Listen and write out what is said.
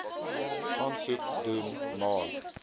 aansoek doen maar